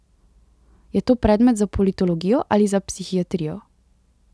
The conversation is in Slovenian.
Je to predmet za politologijo ali za psihiatrijo?